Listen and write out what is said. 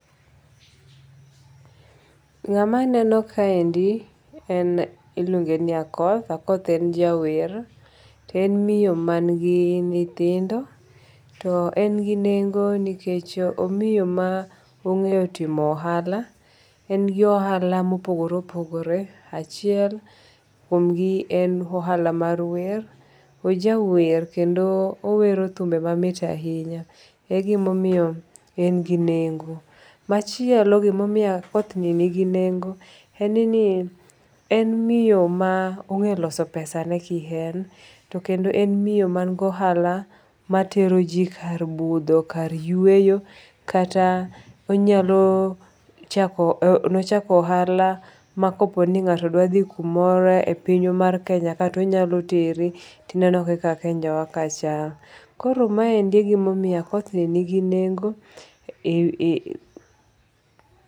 Ng'ama aneno kaendi en iluonge ki Akoth. Akoth en jawer. To en miyo man gi nyithindo. To en gi nengo nikech omiyo ma ong'eyo timo ohala. En gi ohala mopogore opogore. Achiel kuom gi en ohala mar wer, Oja wer kendo owero thumbe mamit ahinya, e gimomiyo en gi nengo. Machielo gimomiyo Akoth ni nigi nengo en ni en miyo ma ong'e loso pesane kien. Kendo en miyo man gi ohala ma tero ji kar budho, kar yueyo kata onyalo chako nochako ohala makopo ni ng'ato dwa dhi kumoro e piny mar Kenya ka to onyalo teri to ineno kaka Kenya wa ka chal. Koro maendi e gima omiyo Akoth ni ni gi nengo.